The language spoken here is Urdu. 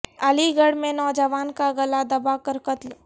علی گڑھ میں نوجوان کا گلا دبا کر قتل